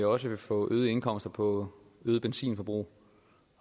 også vil få øgede indkomster på øget benzinforbrug